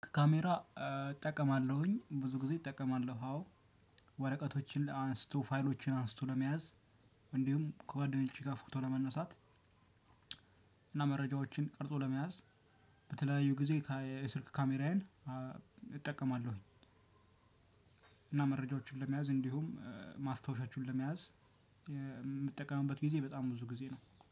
ካሜራ እጠቀማለሁኝ። ብዙ ጊዜ እጠቀማለሁ አዎ። ወረቀቶችን አንስቶ ፋይሎችን አንስቶ ለመያዝ እንዲሁም ከጓደኞቼ ጋር ፎቶ ለመነሳት እና መረጃዎችን ቀርጾ ለመያዝ በተለያዩ ጊዜ የስልክ ካሜራዬን እጠቀማለሁኝ። እና መረጃዎችን ለመያዝ እንዲሁም ማስታወሻችሁን ለመያዝ የምትጠቀምበት ጊዜ በጣም ብዙ ጊዜ ነው።